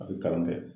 A bɛ kalan kɛ